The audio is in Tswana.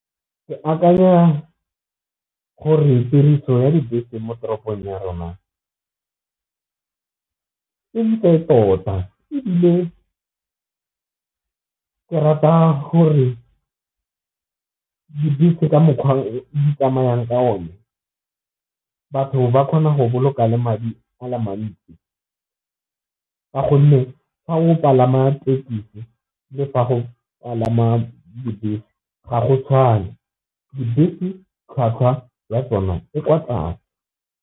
Ke akanya gore tiriso ya dibese mo toropong ya rona e ntle tota, ebile ke rata gore dibese ka mokgwa di tsamayang ka one batho ba kgona go boloka le madi a le mantsi, ka gonne ga go palama tekesi le fa go palama dibese ga go tshwane dibese tlhwatlhwa ya tsona e kwa tlase.